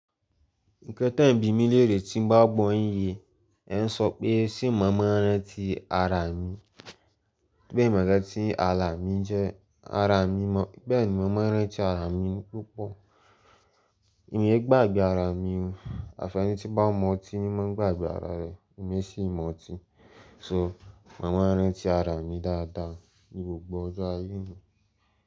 Ǹkan tẹ ń bí mi léèrè tí ń bá gbọ́ yin ye, ẹ ń sọ pé ṣé mo máa ń rántí ara mi, pé mi ò mọ ǹkan ti ara mi jẹ́ ara mi mọ̀, bẹ́ẹ̀ni mo ma rántí ara mi púpọ̀. Mi e gbàgbé ara mi o, àfẹni tí bá ń mú ọtí ni ma ń gbàgbé ara rẹ̀, èmi e sì mu ọtí, so mo má ń rántí ara mi dáadáa, ní gbogbo ọjọ́ ayé mi.